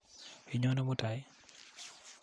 Inyone mutai ii?